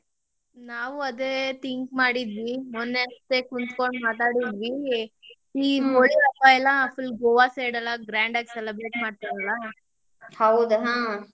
ನಾವು ಅದೇ think ಮಾಡಿದ್ವಿ, ಮೊನ್ನೆ ಕುಂತ್ಕೊಂಡ್ ಮಾತಾಡಿದ್ವಿ ಗೋವಾ side ಎಲ್ಲಾ grand ಆಗಿ celebrate ಮಾಡ್ತರ್ಲಾ, .